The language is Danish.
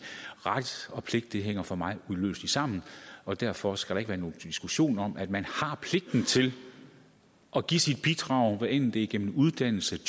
ret og pligt hænger for mig uløseligt sammen og derfor skal der ikke være nogen diskussion om at man har pligten til at give sit bidrag hvad enten det er gennem uddannelse